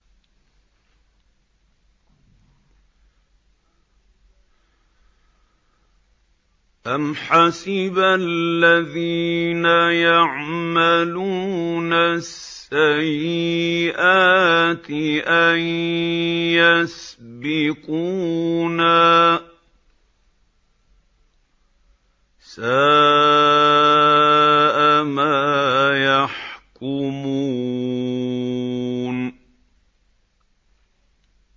أَمْ حَسِبَ الَّذِينَ يَعْمَلُونَ السَّيِّئَاتِ أَن يَسْبِقُونَا ۚ سَاءَ مَا يَحْكُمُونَ